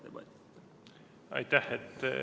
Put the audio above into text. Aitäh!